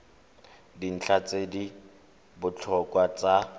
dintlha tse di botlhokwa tsa